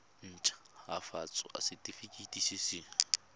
nt hafatsa setefikeiti se se